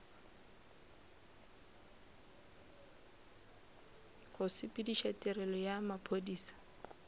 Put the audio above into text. go sepediša tirelo ya maphodisa